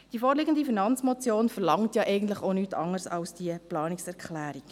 Die vorliegende Finanzmotion verlangt ja eigentlich auch nichts anderes als die Planungserklärung.